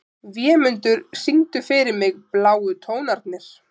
Vémundur, syngdu fyrir mig „Bláu tónarnir“.